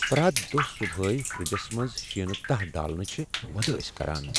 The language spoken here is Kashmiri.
پرٛیتھ دۄہہ صبحٲے فرٛجس منٛز شینہٕ تہہ ڈالٕنہِ چھ وُدٲسۍ كران ۔